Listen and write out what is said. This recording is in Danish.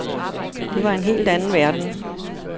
Det var en helt anden verden.